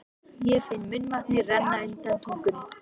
Ég finn munnvatnið renna undan tungunni.